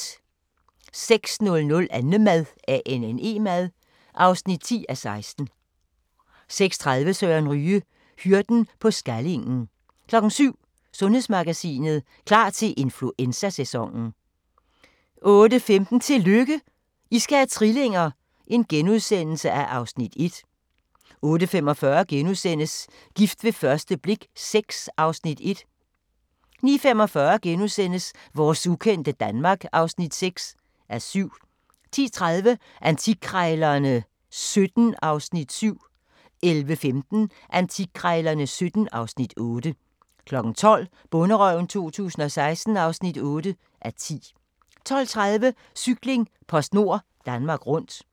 06:00: Annemad (10:16) 06:30: Søren Ryge: Hyrden på Skallingen 07:00: Sundhedsmagasinet: Klar til influenzasæsonen 08:15: Tillykke, I skal have trillinger! (Afs. 1)* 08:45: Gift ved første blik VI (Afs. 1)* 09:45: Vores ukendte Danmark (6:7)* 10:30: Antikkrejlerne XVII (Afs. 7) 11:15: Antikkrejlerne XVII (Afs. 8) 12:00: Bonderøven 2016 (8:10) 12:30: Cykling: PostNord Danmark Rundt